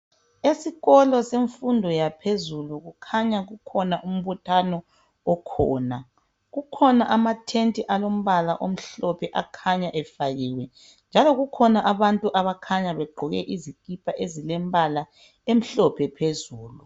Esikolo semfundo yaphezulu kukhanya kukhona umbuthano okhona .Kukhona ama tent alombala omhlophe akhanya efakiwe njalo kukhona abantu abakhanya begqoke izikipa ezilembala emhlophe phezulu.